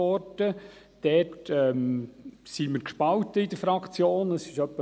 dort sind wir gespalten innerhalb der Fraktion, es ist etwa fünfzig-fünfzig.